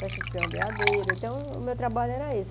festa de peão e beadeiro, então o meu trabalho era esse.